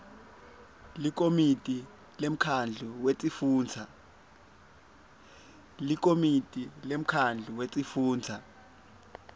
likomiti lemkhandlu wetifundza